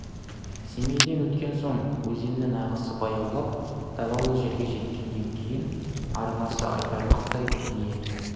семейден өткен соң өзеннің ағысы баяулап далалы жерге жеткеннен кейін арнасы айтарлықтай кеңейеді